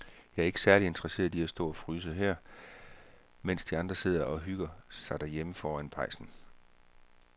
Jeg er ikke særlig interesseret i at stå og fryse her, mens de andre sidder og hygger sig derhjemme foran pejsen.